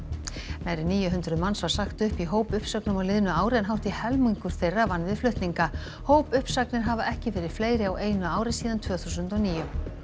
nærri níu hundruð manns var sagt upp í hópuppsögnum á liðnu ári en hátt í helmingur þeirra vann við flutninga hópuppsagnir hafa ekki verið fleiri á einu ári síðan tvö þúsund og níu